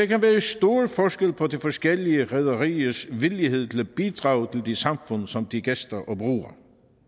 kan være stor forskel på de forskellige rederiers villighed til at bidrage til de samfund som de gæster og bruger